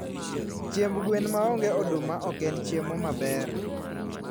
Chiemb gwen maonge oduma oken chiemo maber